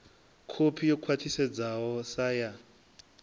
kopi yo khwathisedzwaho sa ya